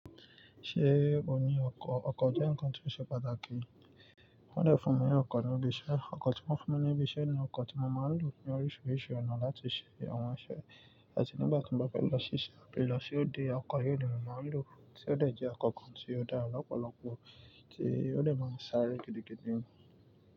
Ṣé ò ní ọkọ̀? Ọkọ̀ jẹ́ ǹkan tí ó ṣe pàtàkì. Wọ́n dẹ̀ fún mi ní ọkọ̀ níbi iṣẹ́, ọkọ̀ tí wọ́n fún mi ní ibi iṣẹ́ ni ọkọ̀ tí mo máa ń lò ní oríṣiríṣi ọ̀nà láti ṣe àwọn iṣẹ́, àti nígbà tí n bá fẹ́ lọ síse ábi lọ sí òde, ọkọ̀ yìí ni mo máa ń lò tí ó dẹ̀ jẹ́ ọkọ̀ kan tí ó dára lọ́pọ̀lọpọ̀ tí ó dẹ̀ máa ń sáré gidigidi ni.